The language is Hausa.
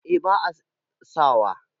eh ba a sawa